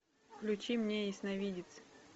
включи мне ясновидец